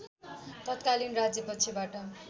तत्कालीन राज्यपक्षबाट